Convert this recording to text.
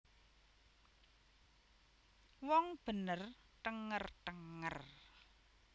Wong bener thenger thenger